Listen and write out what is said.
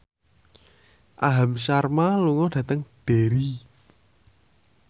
Aham Sharma lunga dhateng Derry